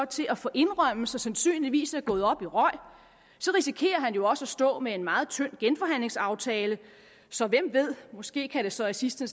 til at få indrømmelser sandsynligvis er gået op i røg risikerer han jo også at stå med en meget tynd genforhandlingsaftale så hvem ved måske kan det så i sidste